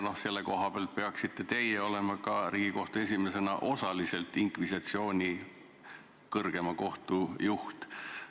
Sellest vaatevinklist peaksite teie Riigikohtu esimehena olema osaliselt inkvisitsiooni kõrgema kohtu juht.